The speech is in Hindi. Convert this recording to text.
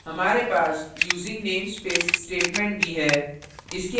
हमारे पास using namespace statement भी है